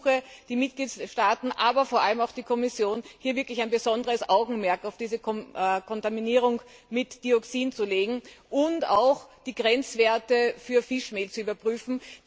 Und ich ersuche die Mitgliedstaaten, aber vor allem auch die Kommission, hier wirklich besonderes Augenmerk auf die Kontaminierung mit Dioxin zu legen und auch die Grenzwerte für Fischmehl zu überprüfen.